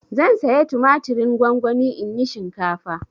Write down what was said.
Zan saya tumatirin gongoni in yi shinkafa.